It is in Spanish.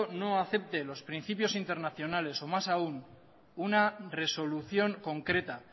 no acepte los principios internacionales o más aún una resolución concreta